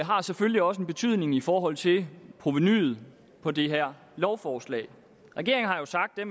har selvfølgelig også en betydning i forhold til provenuet på det her lovforslag regeringen har jo sagt at